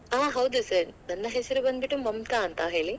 ಆಹ್ ಹೌದು sir . ನನ್ನ ಹೆಸರು ಬಂದ್ ಬಿಟ್ಟು ಮಮತಾ ಅಂತ ಹೇಳಿ.